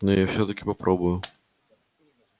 но я всё-таки попробую